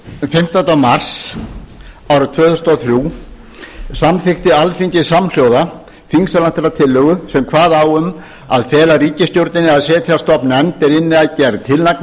fimmtánda mars árið tvö þúsund og þrjú samþykkti alþingi samhljóða þingsályktunartillögu sem kvað á um að fela ríkisstjórninni að setja á stofn nefnd er vinni að gerð